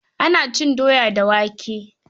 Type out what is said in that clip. Ana cin doya da wake.